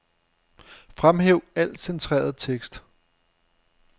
Fremhæv al centreret tekst.